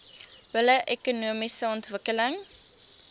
billike ekonomiese ontwikkeling